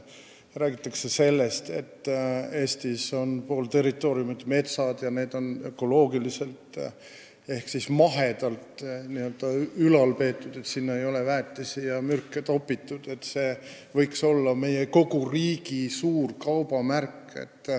Räägitakse sellest, et pool Eesti territooriumist on metsa all, mida on ülal peetud ökoloogiliselt ehk mahedalt, sinna ei ole topitud väetisi ega mürke – et see võiks olla kogu meie riigi suur kaubamärk.